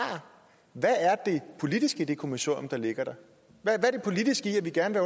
hvad er det politiske i det kommissorium der ligger hvad er det politiske i at vi gerne